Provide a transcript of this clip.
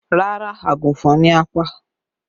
Rárá, àgùnfọn ni a pa